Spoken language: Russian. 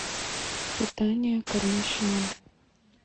питание кормящей мамы